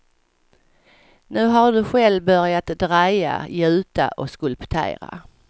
Nu har du själv börjat dreja, gjuta och skulptera.